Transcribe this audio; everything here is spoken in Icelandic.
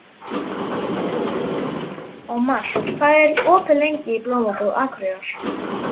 Ómar, hvað er opið lengi í Blómabúð Akureyrar?